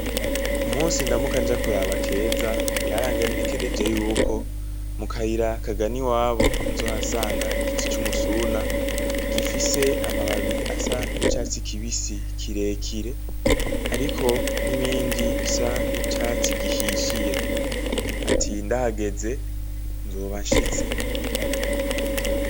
Umunsi ndamuka nja kuraba keza ,yarangenekereje yuko mukayira kagana iwabo nzohasanga igiti c'umusuna, gifise amababi asa n'icatsi kibisi kirekire, hariko n'ibindi bisa n'icatsi gihishiye .Ati ndahageze ,nzoba nshiste.